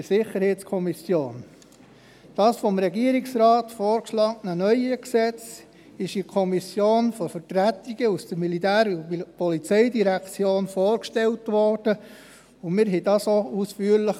der SiK. Das vom Regierungsrat vorgeschlagene neue Gesetz wurde in der Kommission von Vertretungen aus der POM vorgestellt, und wir berieten es auch ausführlich.